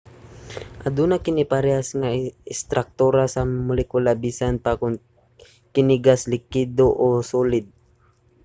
aduna kini parehas nga istraktura sa molekula bisan pa kon kini gas likido o solid